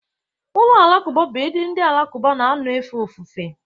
ụlọ alakụba bụ ebe ndị Alakụba na-anọ efe ofufe